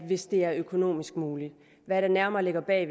hvis det er økonomisk muligt hvad der nærmere ligger bag